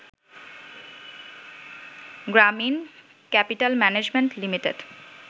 Gramin capital management limited